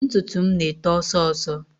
Ntutu m na-eto ọsọọsọ